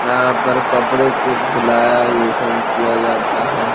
यहाँ पर कपड़े को धुलाया ये सब किया जाता है।